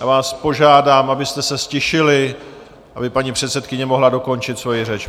Já vás požádám, abyste se ztišili, aby paní předsedkyně mohla dokončit svoji řeč.